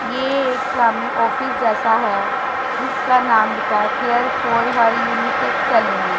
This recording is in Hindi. ये एक सामने ऑफिस जैसा है जिसका नाम लिखा है care for hair unisex salon --